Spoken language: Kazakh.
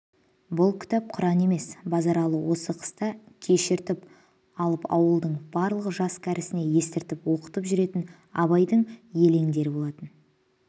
бұл кітап құран емес базаралы осы қыста кешіртіп алып ауылдың барлық жас-кәрісіне естіртіп оқытып жүретін абайдың елендері болатын